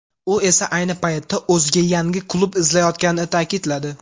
U esa ayni paytda o‘ziga yangi klub izlayotganini ta’kidladi.